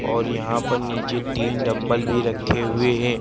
और यहां पर नीचे तीन डंबल भी रखे हुए हैं।